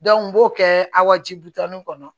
n b'o kɛ a ji butani kɔnɔ